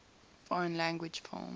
foreign language film